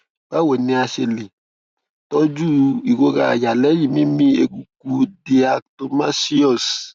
báwo ni a ṣe lè tọjú ìrora àyà lẹyìn mímí eruku diatomaceous